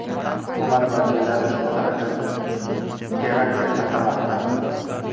Hukumat vakillari ushbu harakatni terakt deb atamoqda.